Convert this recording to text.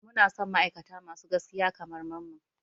Muna son ma'aikata masu gaskiya kamar Mamman.